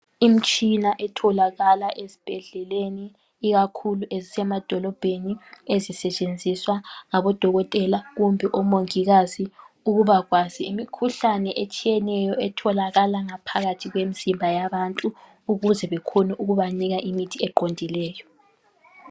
Imitshina etholakala ezibhedlela ikakhulu ezisemadokobheni ezisetshenziswa ngabodokotela kumbe omongikazi ukuba kwazi imikhuhlane etshiyeneyo etholakala ngaphakathi kwemizimba yabantu ukuze bekhone ukuba nika imithi eqondileyo.